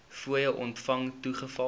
fooie ontvang toegeval